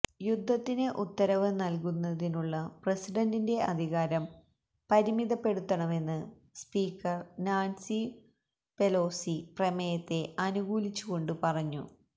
യുദ്ധത്തിന് ഉത്തരവ് നൽകുന്നതിനുള്ള പ്രസിഡന്റിന്റെ അധികാരം പരിമിതപ്പെടുത്തണമെന്ന് സ്പീക്കർ നാൻസി പെലോസി പ്രമേയത്തെ അനുകൂലിച്ചു കൊണ്ട് പറഞ്ഞു